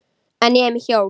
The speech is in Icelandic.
En ég er með hjól.